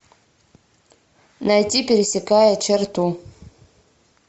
найти пересекая черту